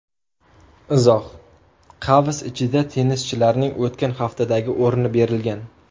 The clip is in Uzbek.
Izoh: Qavs ichida tennischilarning o‘tgan haftadagi o‘rni berilgan.